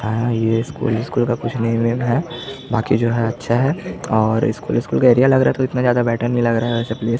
है ये school school का कुछ नेम वमे है बाकि जो है अच्छा है और स्कूल स्कूल का एरिया लग रहा है तो इतना ज्यादा बेटर नहीं लग रहा है।